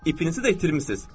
İpinizi də itirmisiz.